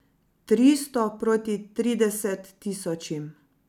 Tristo proti trideset tisočim.